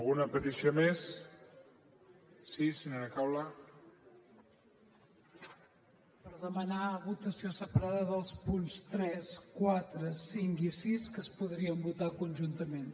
per demanar votació separada dels punts tres quatre cinc i sis que es podrien votar conjuntament